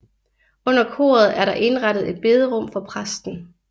Under koret er der indrettet et bederum for præsten